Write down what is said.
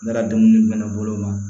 Ne ka dumuni bɛ ne bolo wa